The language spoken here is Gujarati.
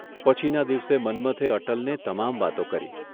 પછીના દિવસે મન્મથે અટલને તમામ વાતો કરી.